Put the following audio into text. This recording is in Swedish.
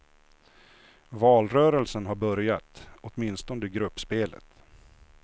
Valrörelsen har börjat, åtminstone gruppspelet.